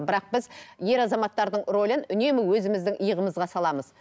бірақ біз ер азаматтардың рөлін үнемі өзіміздің иығымызға саламыз